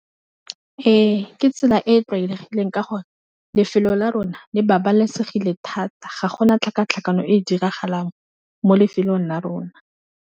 Ee, ke tsela e tlwaelegileng ka gore lefelo la rona le babalesegile thata, ga gona tlhakatlhakano e diragalang mo lefelong la rona.